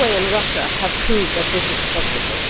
Norway and Russia have proved that this is possible.